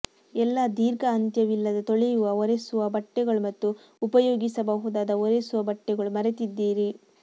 ಎಲ್ಲಾ ದೀರ್ಘ ಅಂತ್ಯವಿಲ್ಲದ ತೊಳೆಯುವ ಒರೆಸುವ ಬಟ್ಟೆಗಳು ಮತ್ತು ಉಪಯೋಗಿಸಬಹುದಾದ ಒರೆಸುವ ಬಟ್ಟೆಗಳು ಮರೆತಿದ್ದೀರಿ